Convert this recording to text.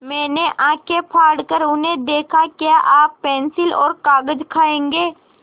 मैंने आँखें फाड़ कर उन्हें देखा क्या आप पेन्सिल और कागज़ खाएँगे